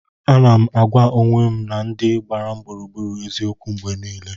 Ana m agwa onwe m na ndị gbara m gburugburu eziokwu mgbe niile.